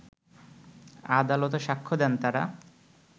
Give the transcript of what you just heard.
আদালতে সাক্ষ্য দেন তারা